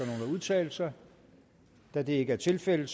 udtale sig da det ikke er tilfældet